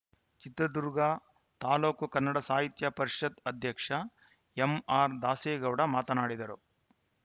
ಚಿತ್ರದುರ್ಗ ತಾಲೂಕು ಕನ್ನಡ ಸಾಹಿತ್ಯ ಪರಿಷತ್‌ ಅಧ್ಯಕ್ಷ ಎಂಆರ್‌ದಾಸೇಗೌಡ ಮಾತನಾಡಿದರು